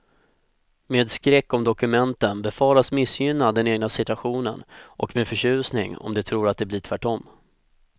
Med skräck om dokumenten befaras missgynna den egna situationen och med förtjusning om de tror att det blir tvärtom.